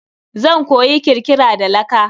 Zan koyi kirkira da laka.